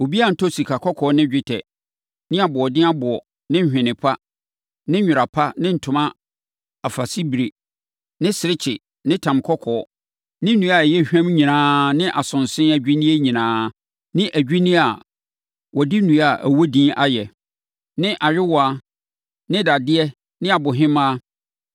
Obiara ntɔ sikakɔkɔɔ ne dwetɛ, ne aboɔden aboɔ ne nhweneɛ pa, ne nwera pa ne ntoma afasebire ne serekye ne tam kɔkɔɔ, ne nnua a ɛyɛ hwam nyinaa ne asonse adwinneɛ nyinaa, ne adwinneɛ a wɔde nnua a ɛwɔ din ayɛ, ne ayowaa ne dadeɛ ne abohemaa,